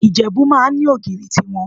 Ìjẹ̀bú máa ń ní ogìrì tí wọn.